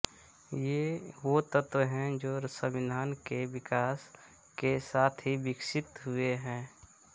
ये वे तत्त्व है जो संविधान के विकास के साथ ही विकसित हुए हैं